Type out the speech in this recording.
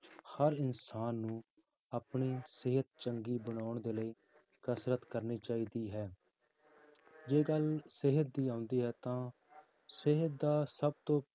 ਹਰ ਇਨਸਾਨ ਨੂੰ ਆਪਣੀ ਸਿਹਤ ਚੰਗੀ ਬਣਾਉਣ ਦੇ ਲਈ ਕਸ਼ਰਤ ਕਰਨੀ ਚਾਹੀਦੀ ਹੈ ਜੇ ਗੱਲ ਸਿਹਤ ਦੀ ਆਉਂਦੀ ਹੈ ਤਾਂ ਸਿਹਤ ਦਾ ਸਭ ਤੋਂ